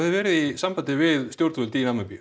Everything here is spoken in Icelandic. verið í sambandi við stjórnvöld í Namibíu